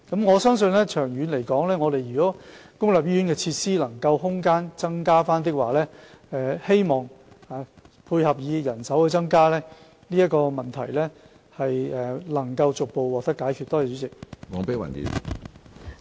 我相信，長遠來說，如果公立醫院的設施空間得以增加，再配合人手增加，這個問題將可逐步獲得解決。